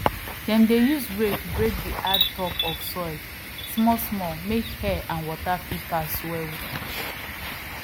dem dey use rake break di hard top of soil smallsmall make air and water fit pass well